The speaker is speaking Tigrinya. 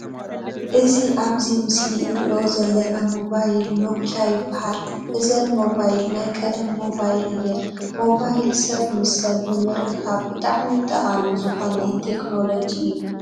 እዚ ኣብዚ ምስሊ እንርእዮ ዘለና ሞባይል ኖኪያ ይባሃል። እዘን ሞባይል ናይ ቀደም ሞባይል እየን። ሞባይል ሰብ ምስ ሰብ ንምርካብ ብጣዕሚ ጠቃሚ ዝኮነ ቴክኖለጂ እዩ።